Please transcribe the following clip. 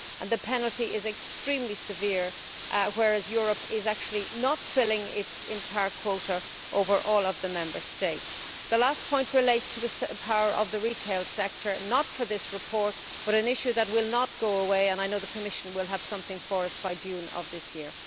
The penalty is extremely severe, whereas Europe is actually not filling its entire quota over all of the Member States. The last point relates to the power of the retail sector not for this report, but an issue that will not go away and I know the Commission will have something for us by June of this year.